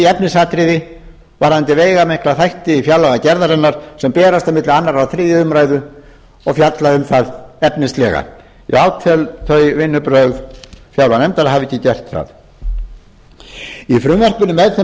efnisatriði varðandi veigamikla þætti fjárlagagerðarinnar sem berast milli annarrar og þriðju umræðu og fjalla um það efnislega ég átel þau vinnubrögð fjárlaganefndar að hafa ekki gert það í frumvarpinu með þeim